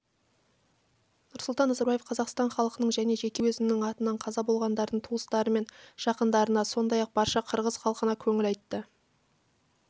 нұрсұлтан назарбаев қазақстан халқының және жеке өзінің атынан қаза болғандардың туыстары мен жақындарына сондай-ақ барша қырғыз халқына көңіл айтты